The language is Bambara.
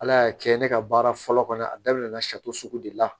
Ala y'a kɛ ne ka baara fɔlɔ kɔni a daminɛ na sari sugu de la